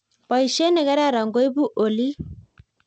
Boishet nekararan koibu olik